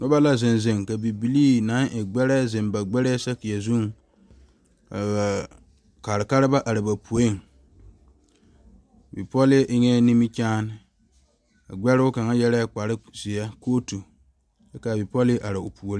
Noba la zeŋ zeŋ ka bibile naŋ e gbɛre zeŋ ba gbɛre saakere zu ka kaa kaara ba are ba poe bipole eŋe nimikyaane a gbɛre kaŋa yeere kpare ziɛ kootu kyɛ kaa bipole are o puori.